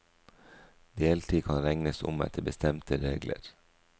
Deltid kan regnes om etter bestemte regler.